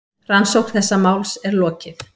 Rannsókn þessa máls er lokið.